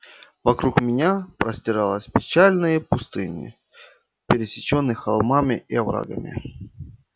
вокруг меня простиралась печальные пустыни пересечённые холмами и оврагами